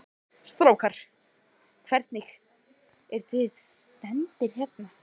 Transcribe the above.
Strákar, hvernig, eruð þið stemmdir hérna?